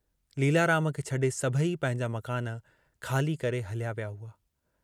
लीलाराम खे छॾे सभई पंहिंजा मकान ख़ाली करे हलिया विया हुआ।